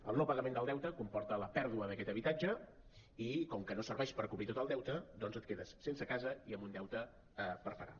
el no pagament del deute comporta la pèrdua d’aquest habitatge i com que no serveix per cobrir tot el deute doncs et quedes sense casa i amb un deute per pagar